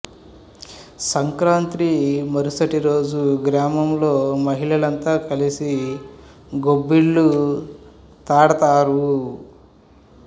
సంక్రాంతి మరుసటి రోజు గ్రామంలో మహిళలంతా కలిసి గొబ్బిళ్ళు తడతారు